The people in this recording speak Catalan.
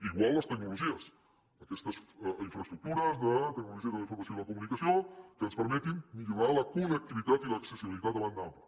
igual les tecnologies aquestes infraestructures de tecnologies de la informació i la comunicació que ens permetin millorar la connectivitat i l’accessibilitat de banda ampla